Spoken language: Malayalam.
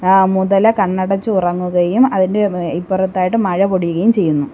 ആ മുതല കണ്ണടചുറങ്ങുകയും അതിൻ്റെ എം ഇപ്പറത്തായിട്ട് മഴ പൊടിയുകയും ചെയുന്നു.